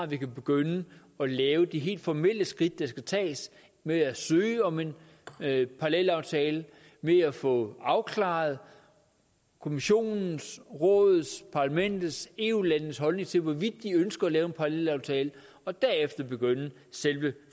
vi kan begynde at lave de helt formelle skridt der skal tages med at søge om en parallelaftale med at få afklaret kommissionens rådets parlamentets eu landenes holdning til hvorvidt de ønsker at lave en parallelaftale og derefter begynde selve